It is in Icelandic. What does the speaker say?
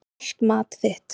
Kalt mat þitt.